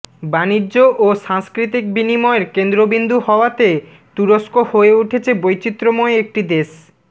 বাণিজ্য ও সাংস্কৃতিক বিনিময়ের কেন্দ্রবিন্দু হওয়াতে তুরস্ক হয়ে উঠেছে বৈচিত্র্যময় একটি দেশ